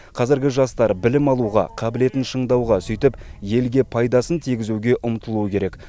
қазіргі жастар білім алуға қабілетін шыңдауға сөйтіп елге пайдасын тигізуге ұмтылуы керек